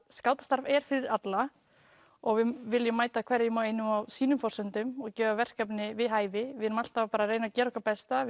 skátastarf er fyrir alla og við viljum mæta hverjum og einum á sínum forsendum og gefa verkefni við hæfi við erum alltaf að gera okkar besta